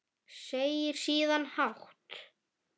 Segir síðan hátt